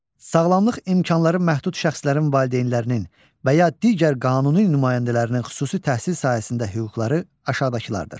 Sağlamlıq imkanları məhdud şəxslərin valideynlərinin və ya digər qanuni nümayəndələrinin xüsusi təhsil sahəsində hüquqları aşağıdakılardır: